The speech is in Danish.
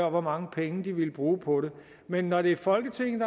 og hvor mange penge de ville bruge på det men når det er folketinget